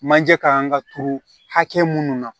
Manje kan ka turu hakɛ mun na